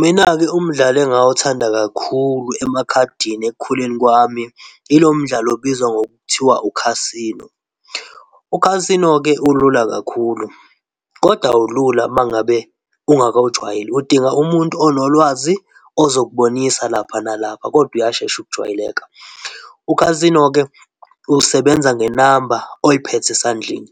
Mina-ke umdlalo engawuthanda kakhulu emakhadini ekukhuleni kwami ilo mdlalo obizwa ngokuthiwa u-casino. U casino-ke ulula kakhulu kodwa awulula uma ngabe ungakawu jwayeli, udinga umuntu onolwazi, ozokubonisa lapha nalapha, kodwa uyashesha ujwayeleka. U-casino-ke usebenza ngenamba oyiphethe esandleni